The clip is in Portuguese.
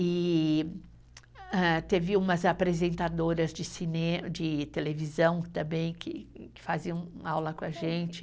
E ah, teve umas apresentadoras de cinema, de televisão também que faziam aula com a gente.